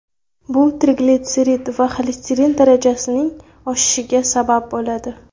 Bu triglitserid va xolesterin darajasining oshishiga sababchi bo‘ladi.